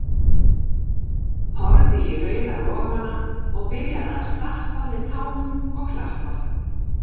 Horfði í rauða logana og byrjaði að stappa með tánum og klappa